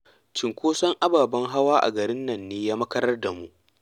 Cinkoson ababen hawa a garin nan ne ya makarar da mu